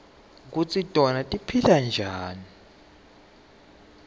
kutsi tona tiphila njani